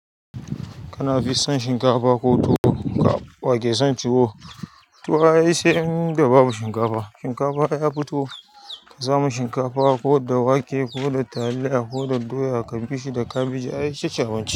Kana fi son shinkafa ko tuwo? Wa ke son tuwo? Tuwo sai ai inda babu shinkafa. Shinkafa ya fi tuwo ka samu shinkafa ko da wake ko da taliya ko da doya ka bi shi da kabeji ai ita ce abinci.